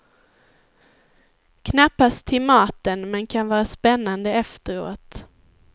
Knappast till maten, men kan vara spännande efteråt.